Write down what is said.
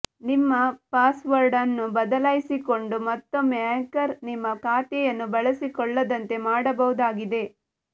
ನಿಮ್ಮ ಪಾಸ್ವರ್ಡ್ ಅನ್ನು ಬದಲಾಯಿಸಿಕೊಂಡು ಮತ್ತೊಮ್ಮೆ ಹ್ಯಾಕರ್ ನಿಮ್ಮ ಖಾತೆಯನ್ನು ಬಳಸಿಕೊಳ್ಳದಂತೆ ಮಾಡಬಹುದಾಗಿದೆ